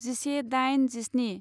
जिसे दाइन जिस्नि